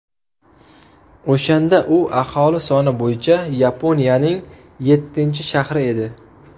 O‘shanda u aholi soni bo‘yicha Yaponiyaning yettinchi shahri edi.